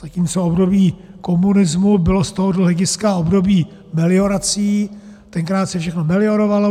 Zatímco období komunismu bylo z tohoto hlediska obdobím meliorací, tenkrát se všechno meliorovalo.